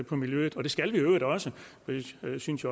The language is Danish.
på miljøet og det skal vi i øvrigt også jeg synes